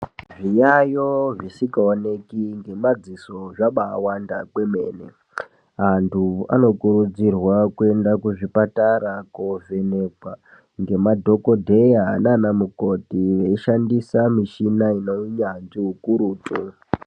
Zviyayo zvisikaoneki ngemadziso zvabawanda kwemene, antu anokurudzirwa kuenda kuzvipatara kovhenekwa ngemadhokodheya nana mukoti veishandisa mishina ine unyanzvi ukurutu.